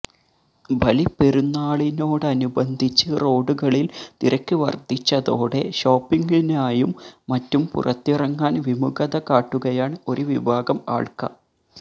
ബലിപ്പെരുന്നാളിനോടനുബന്ധിച്ച് റോഡുകളിൽ തിരക്ക് വർധിച്ചതോടെ ഷോപ്പിംഗിനായും മറ്റും പുറത്തിറങ്ങാൻ വിമുഖത കാട്ടുകയാണ് ഒരു വിഭാഗം ആൾക